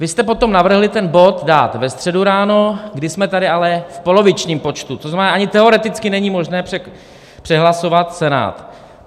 Vy jste potom navrhli ten bod dát ve středu ráno, kdy jsme tady ale v polovičním počtu, to znamená ani teoreticky není možné přehlasovat Senát.